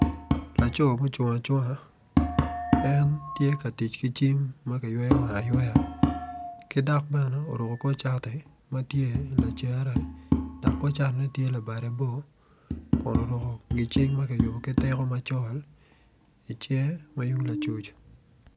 Laco mucung acunga en tye ka tic ki cim ma kiyweyo wange ayweya ki dok bene oruko kor cati ma tye lacere dok tye labade bor kun oruko gitiko macol i cinge ma yung lacuc.